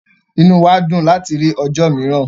Ìnú wa dùn láti rí ọ̀jọ́ miìràn